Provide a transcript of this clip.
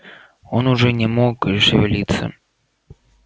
он уже не мог шевелиться